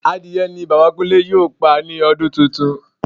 Adìrẹ ni Bàbá Kúnlé yóò pa ní ọdún tuntun